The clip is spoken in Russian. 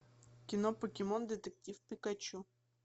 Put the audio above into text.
кино покемон детектив пикачу